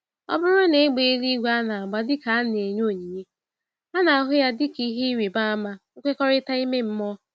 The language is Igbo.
Ọbụrụ na égbè eluigwe anagba dịka a na-enye ònyìnyé, ana-ahụ yá dịka ìhè ịrịba ama nkwekọrịta ime mmụọ.